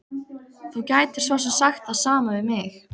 Þú gætir svo sem sagt það sama við mig.